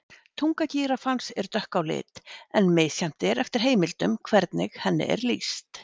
Tunga gíraffans er dökk á lit en misjafnt er eftir heimildum hvernig henni er lýst.